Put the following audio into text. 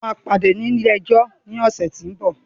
We will see in the court next week